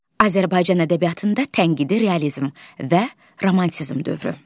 Azərbaycan ədəbiyyatında tənqidi realizm və romantizm dövrü.